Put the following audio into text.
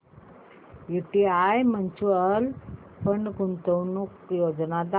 UTI mutual fund गुंतवणूक योजना दाखव